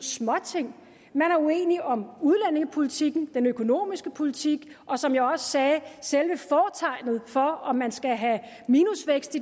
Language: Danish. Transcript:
småting man er uenige om udlændingepolitikken den økonomiske politik og som jeg også sagde selve fortegnet for om man skal have minusvækst